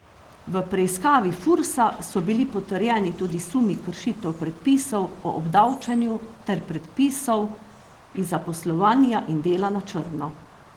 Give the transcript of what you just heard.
V preiskavi Fursa so bili potrjeni tudi sumi kršitev predpisov o obdavčenju ter predpisov iz zaposlovanja in dela na črno.